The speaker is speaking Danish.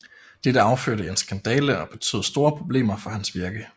Dette affødte en skandale og betød store problemer for hans virke